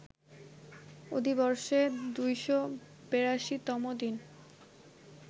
অধিবর্ষে ২৮২ তম দিন